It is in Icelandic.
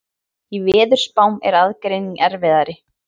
Í veðurspám er aðgreining erfiðari.